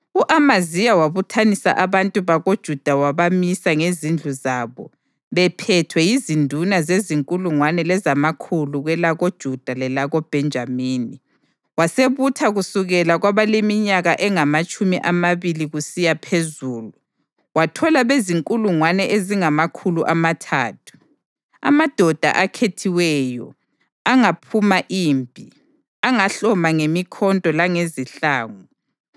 U-Amaziya wabuthanisa abantu bakoJuda wabamisa ngezindlu zabo bephethwe yizinduna zezinkulungwane lezamakhulu kwelakoJuda lelakoBhenjamini. Wasebutha kusukela kwabaleminyaka engamatshumi amabili kusiya phezulu, wathola bezinkulungwane ezingamakhulu amathathu, amadoda akhethiweyo, angaphuma impi, angahloma ngemikhonto langezihlangu.